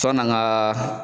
Sanni an ka